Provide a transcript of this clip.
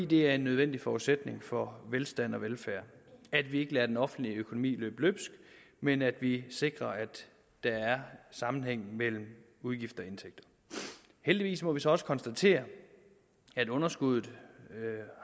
det er en nødvendig forudsætning for velstand og velfærd at vi ikke lader den offentlige økonomi løbe løbsk men at vi sikrer at der er sammenhæng mellem udgifter og indtægter heldigvis må vi så også konstatere at underskuddet